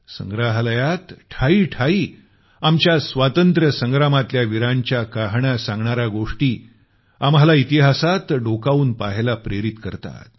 संग्रहालयात ठायी ठायी आमच्या स्वातंत्र्य संग्रमातल्या वीरांच्या कहाण्या सांगणाऱ्या गोष्टी आम्हाला इतिहासात डोकावून पाहण्यास प्रेरित करतात